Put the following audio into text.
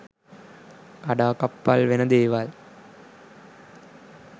කඩාකප්පල් වෙන දේවල්